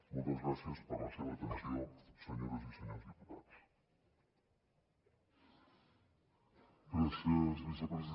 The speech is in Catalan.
moltes gràcies per la seva atenció senyores i senyors diputats